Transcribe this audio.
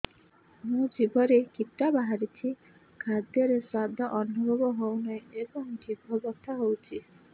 ମୋ ଜିଭରେ କିଟା ବାହାରିଛି ଖାଦ୍ଯୟରେ ସ୍ୱାଦ ଅନୁଭବ ହଉନାହିଁ ଏବଂ ଜିଭ ବଥା ହଉଛି